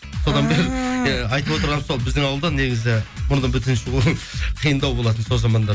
иә айтып отырғаным сол біздің ауылда негізі мұрны бүтін шығу қиындау болатын сол заманда